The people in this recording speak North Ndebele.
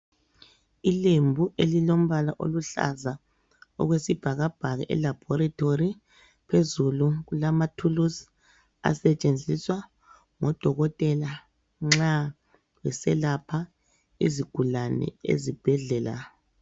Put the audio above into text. Ilembu elilombala oluhlaza okwesibhakabhaka elabhorethori phezulu kulamathuluzi asetshenziswa ngudokotela nxa eselapha izigulane ezibhedlela.